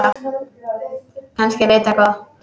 Kannski veit það á gott.